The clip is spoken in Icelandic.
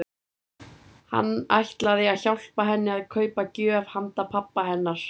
Hann ætlaði að hjálpa henni að kaupa gjöf handa pabba hennar.